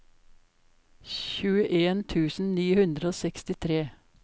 tjueen tusen ni hundre og sekstitre